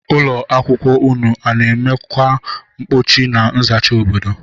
Ụlọ akwụkwọ ụnụ ana emekwọ mkpocha na nzacha obodo?